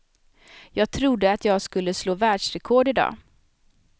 Jag trodde att jag skulle slå världsrekord i dag.